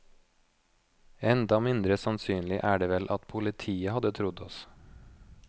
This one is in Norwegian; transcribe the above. Enda mindre sannsynlig er det vel at politiet hadde trodd oss.